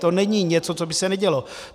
To není něco, co by se nedělo.